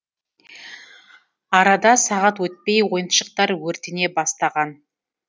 арада сағат өтпей ойыншықтар өртене бастаған